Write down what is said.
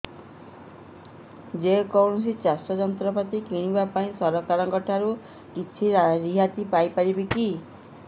ଯେ କୌଣସି ଚାଷ ଯନ୍ତ୍ରପାତି କିଣିବା ପାଇଁ ସରକାରଙ୍କ ଠାରୁ କିଛି ରିହାତି ପାଇ ପାରିବା କି